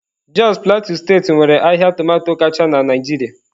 Jos Plateau steeti nwere ahịa tomato kacha na Naịjirịa.